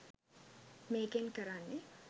මේකෙන් කරන්නෙ